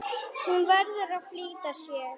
Hún verður að flýta sér.